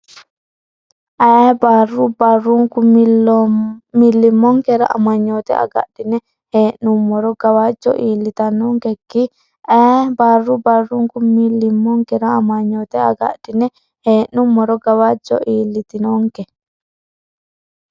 Ayee barru barrunku millimmonkera amanyoote agadhine hee’num- moro gawajjo iillitannonke Ayee barru barrunku millimmonkera amanyoote agadhine hee’num- moro gawajjo iillitannonke.